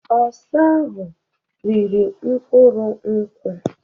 Osa ahụ riri mkpụrụ nkwu.